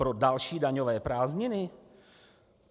Pro další daňové prázdniny?